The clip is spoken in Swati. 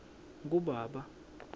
kubaba